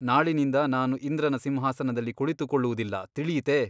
ನಾಳಿನಿಂದ ನಾನು ಇಂದ್ರನ ಸಿಂಹಾಸನದಲ್ಲಿ ಕುಳಿತುಕೊಳ್ಳುವುದಿಲ್ಲ ತಿಳಿಯಿತೆ ?